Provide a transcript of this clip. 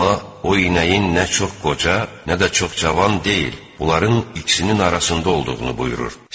Allah o inəyin nə çox qoca, nə də çox cavan deyil, onların ikisinin arasında olduğunu buyurur.